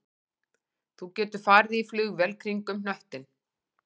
Þú getur farið í flugvél kringum hnöttinn